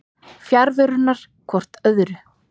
fjarveruna hvort frá öðru